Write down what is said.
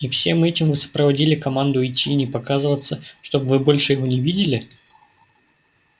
и всем этим вы сопроводили команду уйти и не показываться чтобы вы больше его не видели